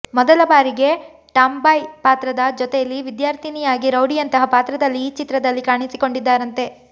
ಮೊದಲ ಬಾರಿಗೆ ಟಾಮ್ಬಾಯ್ ಪಾತ್ರದ ಜೊತೇಲಿ ವಿದ್ಯಾರ್ಥಿನಿಯಾಗಿ ರೌಡಿಯಂತಹ ಪಾತ್ರದಲ್ಲಿ ಈ ಚಿತ್ರದಲ್ಲಿ ಕಾಣಿಸಿಕೊಂಡಿದ್ದಾರಂತೆ